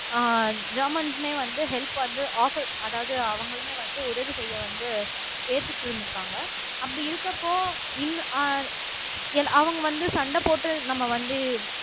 அஹ் ஜெர்மன்ஸ்மே வந்து ஹெல்ப் வந்து ஆஃபர் அதாவது அவங்களுமே வந்து உதவி செய்ய வந்து ஏத்துட்டு இருந்திருக்காங்க அப்படி இருக்கப்போ இன் அஹ் அவங்க வந்து சண்டை போட்டு நம்ம வந்து